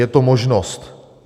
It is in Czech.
Je to možnost.